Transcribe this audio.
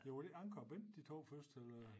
Ja var det ikke Anker og Bent de 2 første eller